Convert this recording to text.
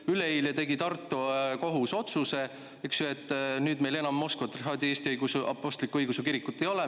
Ainult et üleeile tegi Tartu kohus otsuse, et nüüd meil enam Moskva Patriarhaadi Eesti Õigeusu Kirikut ei ole.